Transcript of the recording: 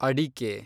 ಅಡಿಕೆ